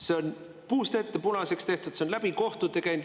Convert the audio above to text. See on puust ja punaseks tehtud, see on läbi kohtute käinud.